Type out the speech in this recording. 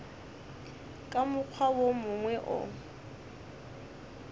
ka mokgwa wo mongwe o